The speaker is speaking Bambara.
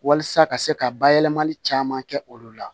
Walasa ka se ka bayɛlɛmali caman kɛ olu la